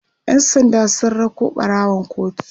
ƴan sanda sun rako ɓarawon kotu